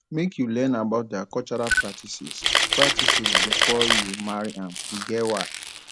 make you learn about their cultural practices practices before you marry am e get why